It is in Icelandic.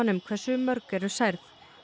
um hversu mörg eru særð